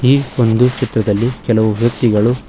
ಈ ಒಂದು ಚಿತ್ರದಲ್ಲಿ ಕೆಲವು ವ್ಯಕ್ತಿಗಳು--